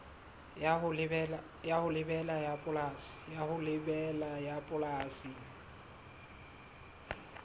ya ho lebela ya bopolesa